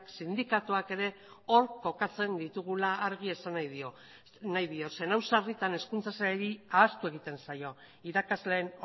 sindikatuek ere hor kokatzen ditugula argi esan nahi diot zeren hau sarritan hezkuntza sailari ahaztu egiten zaio irakasleen